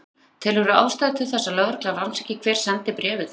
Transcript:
Fréttamaður: Telurðu ástæðu til að lögregla rannsaki hver sendi bréfið?